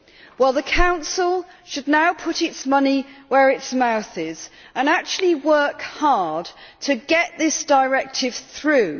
Well, the Council should now put its money where its mouth is and actually work hard to get this directive through.